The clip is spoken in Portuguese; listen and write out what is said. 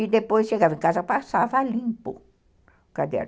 E depois chegava em casa, passava limpo o caderno.